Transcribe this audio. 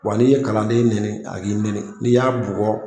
Wa n'i ye kalanden nɛni a b'i nɛni n'i y'a bugɔ